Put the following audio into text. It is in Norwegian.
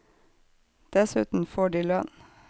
Dessuten får de lønn.